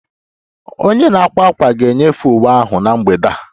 Onye na-akwa ákwà ga-enyefee uwe ahụ na mgbede a